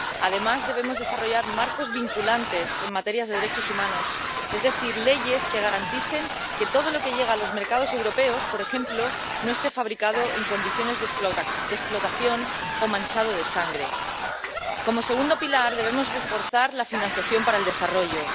Además, debemos desarrollar marcos vinculantes en materia de derechos humanos, es decir, leyes que garanticen que todo lo que llega a los mercados europeos, por ejemplo, no esté fabricado en condiciones de explotación o manchado de sangre. Como segundo pilar, debemos reforzar la financiación para el desarrollo.